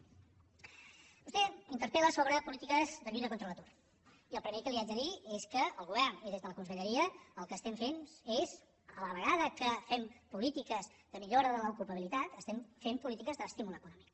vostè interpel·la sobre polítiques de lluita contra l’atur i el primer que li haig de dir és que el govern i des de la conselleria el que estem fent és a la vegada que fem polítiques de millora de l’ocupabilitat estem fent polítiques d’estímul econòmic